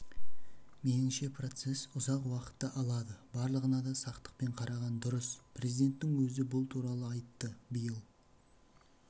меніңше процесс ұзақ уақытты алады барлығына да сақтықпен қараған дұрыс президенттің өзі бұл туралы айтты биыл